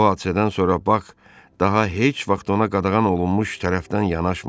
Bu hadisədən sonra Bak daha heç vaxt ona qadağan olunmuş tərəfdən yanaşmadı.